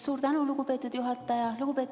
Suur tänu, lugupeetud juhataja!